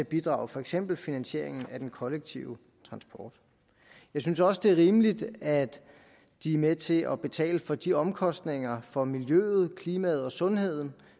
bidrager for eksempel til finansieringen af den kollektive transport jeg synes også at det er rimeligt at de er med til at betale for de omkostninger for miljøet klimaet og sundheden